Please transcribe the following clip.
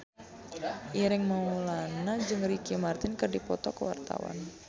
Ireng Maulana jeung Ricky Martin keur dipoto ku wartawan